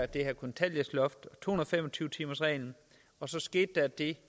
det her kontanthjælpsloft og to hundrede og fem og tyve timersreglen og så skete der det